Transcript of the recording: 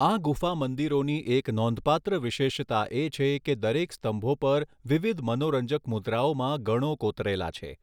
આ ગુફા મંદિરોની એક નોંધપાત્ર વિશેષતા એ છે કે દરેક સ્થંભો પર વિવિધ મનોરંજક મુદ્રાઓમાં ગણો કોતરેલા છે.